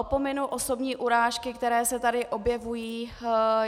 Opominu osobní urážky, které se tady objevují.